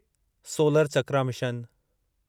solar Chakra mission